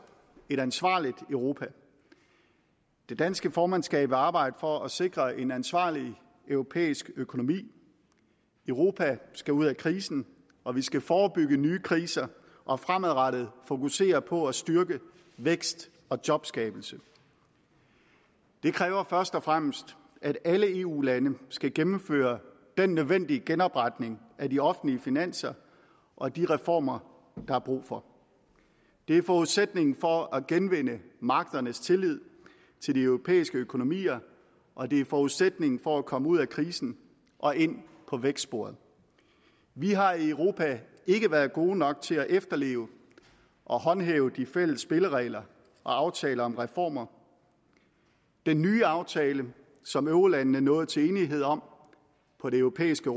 et ansvarligt europa det danske formandskab vil arbejde for at sikre en ansvarlig europæisk økonomi europa skal ud af krisen og vi skal forebygge nye kriser og fremadrettet fokusere på at styrke vækst og jobskabelse det kræver først og fremmest at alle eu lande skal gennemføre den nødvendige genopretning af de offentlige finanser og de reformer der er brug for det er forudsætningen for at genvinde markedernes tillid til de europæiske økonomier og det er forudsætningen for at komme ud af krisen og ind på vækstsporet vi har i europa ikke været gode nok til at efterleve og håndhæve de fælles spilleregler og aftaler om reformer den nye aftale som eurolandene nåede til enighed om på det europæiske